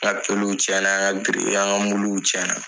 tiɲɛ na biriki y'an ka muluw tiɲɛ na.